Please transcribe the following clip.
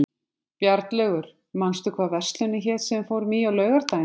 Bjarnlaugur, manstu hvað verslunin hét sem við fórum í á laugardaginn?